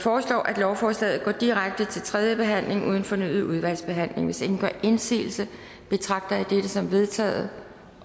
foreslår at lovforslaget går direkte til tredje behandling uden fornyet udvalgsbehandling hvis ingen gør indsigelse betragter jeg dette som vedtaget